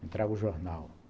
Me traga um jornal.